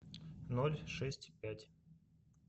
ноль шесть пять